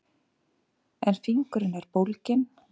En fingurinn er bólginn.